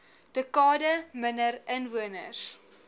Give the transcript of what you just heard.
dekade minder inwoners